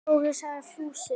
Dóri! sagði Fúsi.